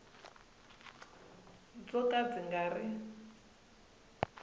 byo ka byi nga ri